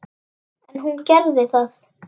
En hún gerði það.